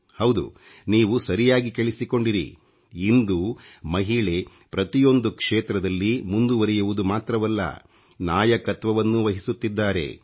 ಹೌದು ನೀವು ಸರಿಯಾಗಿ ಕೇಳಿಸಿಕೊಂಡಿರಿ ಇಂದು ಮಹಿಳೆ ಪ್ರತಿಯೊಂದು ಕ್ಷೇತ್ರದಲ್ಲಿ ಮುಂದುವರಿಯುವುದು ಮಾತ್ರವಲ್ಲ ನಾಯಕತ್ವವನ್ನೂ ವಹಿಸುತ್ತಿದ್ದಾರೆ